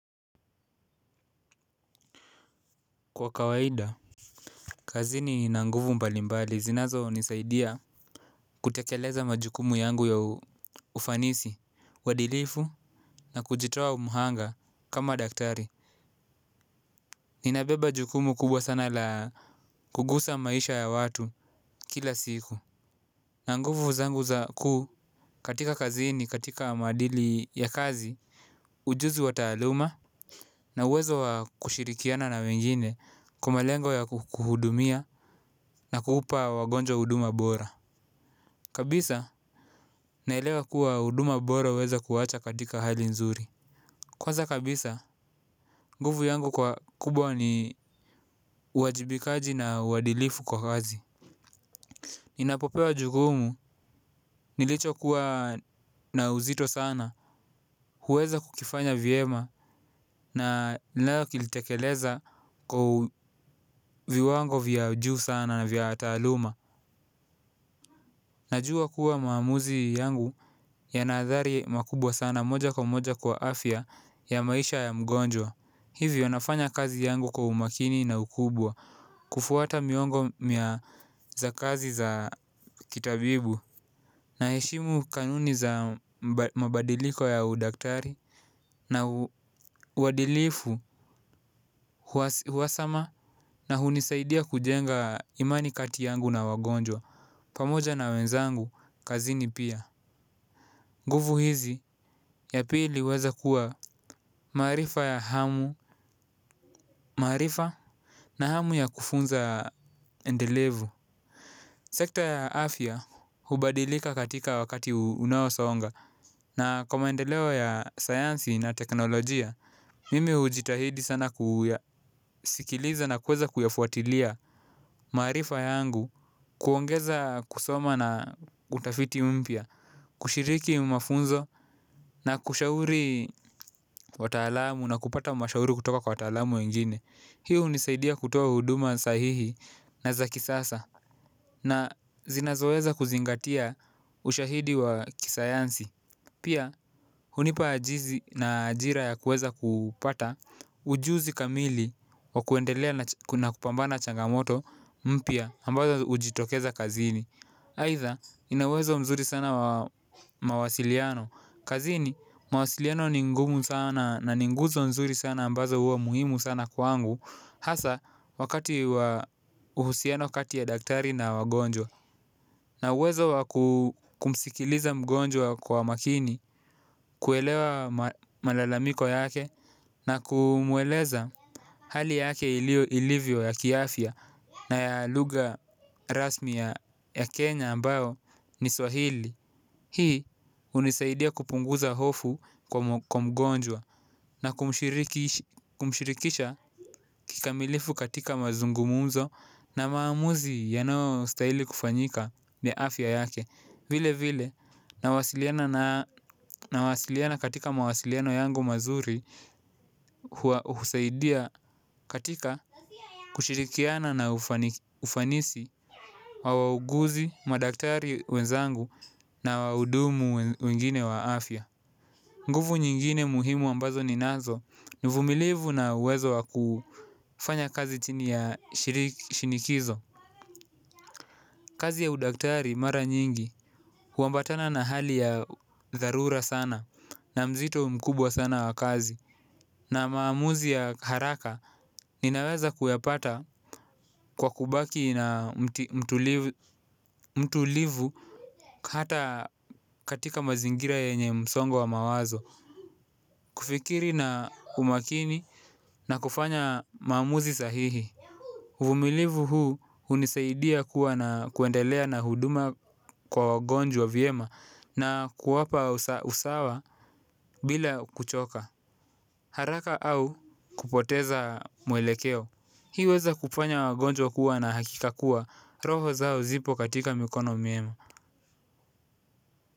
Kwa kawaida kazini nina nguvu mbalimbali zinazonisaidia kutekeleza majukumu yangu ya ufanisi, uhadilifu na kujitoa mhanga kama daktari. Ninabeba jukumu kubwa la kugusa maisha ya watu kila siku. Na nguvu zangu za ku katika kazini katika maadili ya kazi na nguvu zangu za ku katika kazini katika madili ya kazi ujuzi wa taluma na uwezo wa kushirikiana na wengine naelewa kuwa huduma bora uweza kuacha katika hali nzuri. Kwanza kabisa nguvu yangu kwa kubwa ni uwajibikaji na uadilifu kwa kazi. Ninapopewa jukumu nilichokuwa na uzito sana huweza kukifanya vyema na kukitekeleza kwa viwango vya juu sana na vya taaluma. Najua kuwa maamuzi yangu yana athari makubwa sana moja kwa moja kwa afya ya maisha ya mgonjwa. Hivyo nafanya kazi yangu kwa umakini na ukubwa kufuata miongo mia za kazi za kitabibu. Naheshimu kanuni za mabadiliko ya udaktari na uadilifu uhasama na hunisaidia kujenga imani kati yangu na wagonjwa. Pamoja na wenzangu kazini pia nguvu hizi, ya pili huweza kuwa maarifa ya hamu, maarifa na hamu ya kufunza endelevu. Sekta ya afya hubadilika katika wakati unaosonga. Na kwa maendeleo ya sayansi na teknolojia, mimi hujitahidi sana kuyasikiliza na kuweza kuyafuatilia maarifa yangu kuongeza kusoma na utafiti umpia, kushiriki mafunzo na kushauri wataalamu na kupata mashauri kutoka kwa wataalamu wengine. Hii hunisaidia kutoa huduma sahihi na za kisasa. Na zinazoweza kuzingatia ushahidi wa kisayansi pia hunipa ajizi na ajira ya kuweza kupata ujuzi kamili wa kuendelea na kupambana na changamoto mpya ambazo hujitokeza kazini aidha ina uwezo mzuri sana wa mawasiliano. Kazini mawasiliano ni ngumu sana na ni nguzo nzuri sana ambazo huwa muhimu sana kwangu. Hasa wakati wa uhusiano kati ya daktari na wagonjwa na uwezo wa kumsikiliza mgonjwa kwa makini kuelewa malalamiko yake na kumueleza hali yake ilivyo ya kiafya na ya lugha rasmi ya Kenya ambayo ni Swahili. Hii hunisaidia kupunguza hofu kwa mgonjwa. Na kumshirikisha kikamilifu katika mazungumzo na maamuzi yanayostahili kufanyika na afya yake vile vile nawasiliana katika mawasiliano yangu mazuri. Huseidia katika kushirikiana na ufanisi. Wawaguzi, madaktari wenzangu na waudumu wengine waafia. Nguvu nyingine muhimu ambazo ninazo ni uvumilivu na uwezo wakufanya kazi chini ya shinikizo. Kazi ya udaktari mara nyingi huambatana na hali ya darura sana na mzito mkubwa sana wakazi na maamuzi ya haraka ninaweza kuyapata kwa kubaki na mtulivu hata katika mazingira yenye msongo wa mawazo. Kufikiri na umakini na kufanya mamuzi sahihi uvumilivu huu uniseidia kuwa na kuendelea na huduma kwa wagonjwa viema na kuwapa usawa bila kuchoka. Haraka au kupoteza mwelekeo hii uweza kufanya wagonjwa kuwa na hakika kuwa roho zao zipo katika mikono miema.